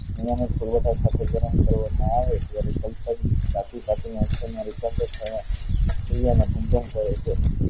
ધાતુ ને ગરમ કરવા માં આવે ત્યારે ધાતુ મા રૂપાંતર